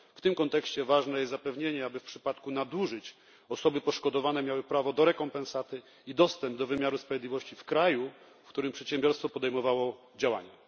W tym kontekście ważne jest zapewnienie, aby w przypadku nadużyć osoby poszkodowane miały prawo do rekompensaty i dostęp do wymiaru sprawiedliwości w kraju, w którym przedsiębiorstwo podejmowało działania.